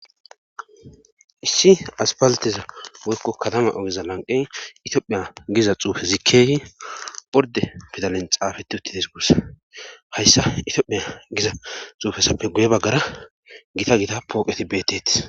Issi aspalateza woykko kadama ogeza lanqey itiophiya giza xuufe zikeyi orde pidalen xaafeti uttites guussa hayssa itoophiya giza xuufesappe guye baggara gita gita pooqeti beetteti.